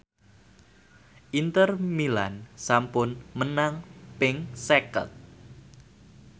Inter Milan sampun menang ping seket